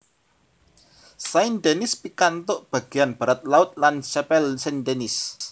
Saint Denis pikantuk bagéyan baratlaut La Chapelle Saint Denis